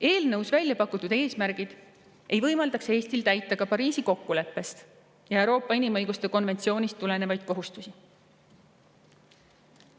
Eelnõus välja pakutud eesmärgid ei võimaldaks Eestil täita ka Pariisi kokkuleppest ja Euroopa inimõiguste konventsioonist tulenevaid kohustusi.